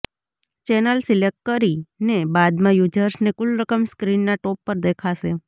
channel select કરીને બાદમાં યૂઝર્સને કુલ રકમ સ્ક્રીનનાં ટોપ પર દેખાશે